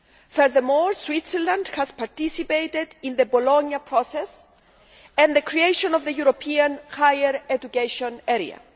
Furthermore, Switzerland has participated in the Bologna Process and the creation of the European Higher Education Area.